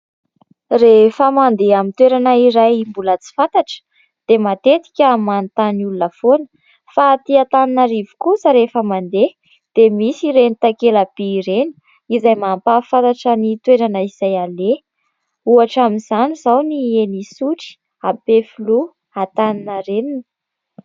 Rehefa mandeha ny toerana iray mbola tsy fantatra dia matetika manontany olona foana fa aty Antananarivo kosa rehefa mandeha dia misy ireny takela-by ireny izay mampahafantatra ny toerana izay aleha ohatra amin'izany izao ny eny Isotry, Ampefiloha, Antaninarenina.